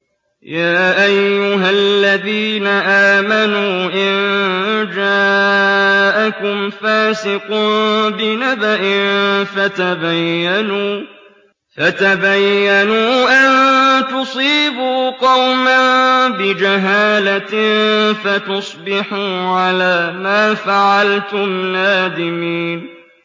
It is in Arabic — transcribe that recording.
يَا أَيُّهَا الَّذِينَ آمَنُوا إِن جَاءَكُمْ فَاسِقٌ بِنَبَإٍ فَتَبَيَّنُوا أَن تُصِيبُوا قَوْمًا بِجَهَالَةٍ فَتُصْبِحُوا عَلَىٰ مَا فَعَلْتُمْ نَادِمِينَ